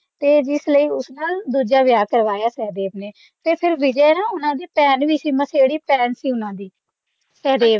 ਤੇ ਇਸ ਲਈ ਉਸ ਨਾਲ ਦੂਜਾ ਵਿਆਹ ਕਰਾਇਆ ਸਹਿਦੇਵ ਨੇ ਉਹਨਾਂ ਦੀ ਭੈਣ ਵੀ ਸੀ ਮੌਸੇਰੀ ਭੈਣ ਸੀ ਉਨ੍ਹਾਂ ਦੀ ਸਹਿਦੇਵ ਦੀ